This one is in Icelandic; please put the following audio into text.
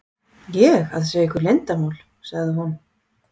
ég að segja ykkur leyndarmál? sagði hún.